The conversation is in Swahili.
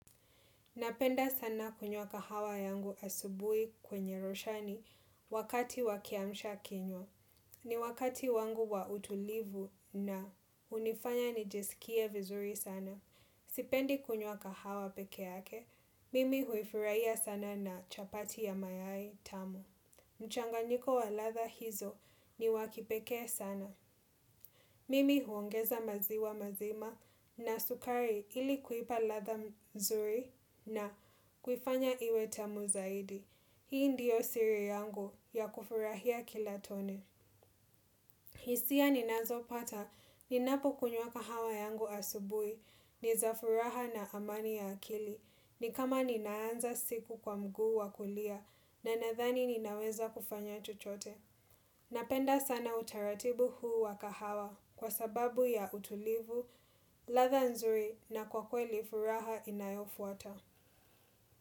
Napenda sana kunywa kahawa yangu asubuhi kwenye roshani wakati wa kiamsha kinywa. Ni wakati wangu wa utulivu na hunifanya nijisikie vizuri sana. Sipendi kunywa kahawa peke yake, mimi huifurahia sana na chapati ya mayai tamu. Mchanganyiko wa ladha hizo ni wa kipekee sana. Mimi huongeza maziwa mazima na sukari ili kuipa ladha nzuri na kuifanya iwe tamu zaidi. Hii ndiyo siri yangu ya kufurahia kila tone. Hisia ninazopata, ninapokunywa kahawa yangu asubuhi, ni za furaha na amani ya akili. Ni kama ninaanza siku kwa mguu wa kulia na nadhani ninaweza kufanya chochote. Napenda sana utaratibu huu wa kahawa kwa sababu ya utulivu, ladha nzuri na kwa kweli furaha inayofuata.